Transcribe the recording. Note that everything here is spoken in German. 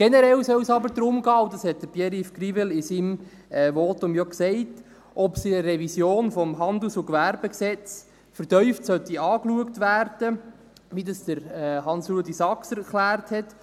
Generell soll es aber darum gehen – und das hat Pierre-Yves Grivel in seinem Votum ja gesagt –, ob es in der Revision des HGG vertieft angeschaut werden soll, wie Hans-Rudolf Saxer erklärt hat.